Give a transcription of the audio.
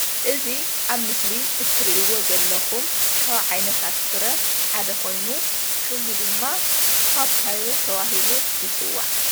እዚ ኣብ ምስሊ እትርኢዎ ዘለኩም ካብ ዓይነታት ፍረ ሓደ ኮይኑ ሽሙ ድማ ፓፓዮ ተባሂሉ ይፅዋዕ፡፡